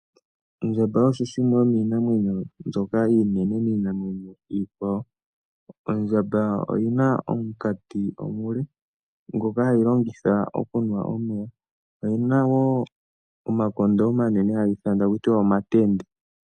Ondjamba osho shimwe yoominamwenyo mbyoka iinene miikwawo. Ondjamba oyina omunkati omule ngoka hayi longitha okunwa omeya, oyina wo omakondo omanene haga ithanwa akutiwa omatende.